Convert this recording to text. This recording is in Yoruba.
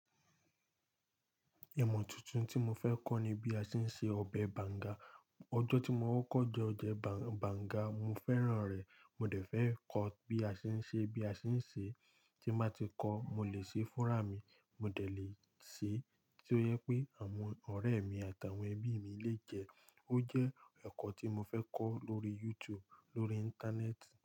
Imọ̀ tuntun tí mo fẹ́ kọ́ ni bí a ṣe ń se ọbẹ̀ banga. Ọjọ́ tí mo kọkọ jẹ ọbẹ banga, mo fẹ́ràn rẹ̀. Mo dẹ̀ fẹ́ kọ́ bí a ṣe ń ṣe, tí n bá tí kọ́, mo lè ṣe fún ra mi. Mo dẹ̀ lè se tí ó jẹ pé àwọn ọ̀rẹ́ mi àtàwọn ẹbí mi lè jẹ́. Ó jẹ́ ẹ̀kọ́ tí mo fẹ́ kọ́ lórí YouTube lórí Íńtánẹ́ẹ̀tì.